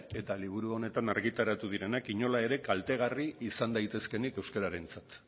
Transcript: eta liburu honetan argitaratu direnak inola ere kaltegarri izan daitezkeenik euskararentzat